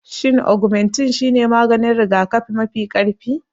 Shin Ogmentin shine maganin rigakafi mafi ƙarfi?